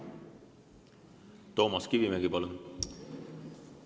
Toomas Kivimägi, palun!